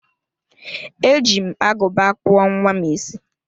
E ji m aguba kpụọ nwa m isi.